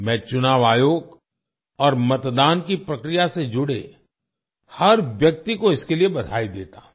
मैं चुनाव आयोग और मतदान की प्रक्रिया से जुड़े हर व्यक्ति को इसके लिए बधाई देता हूँ